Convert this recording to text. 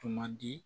Tuma di